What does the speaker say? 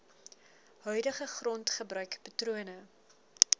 huidige grondgebruik patrone